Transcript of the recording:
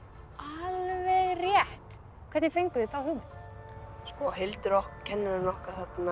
alveg rétt hvernig fenguð þið þá hugmynd Hildur kennarinn okkar